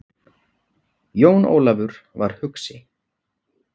Jón Ólafur var hugsi.